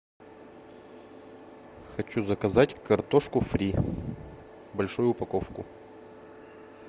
хочу заказать картошку фри большую упаковку